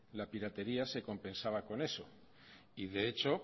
la piratería se compensaba con eso y de hecho